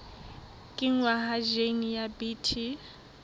kenngwa ha jine ya bt